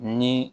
Ni